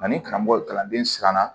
Ani karamɔgɔ kalanden siranna